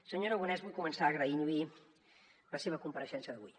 senyor aragonès vull començar agraint li la seva compareixença d’avui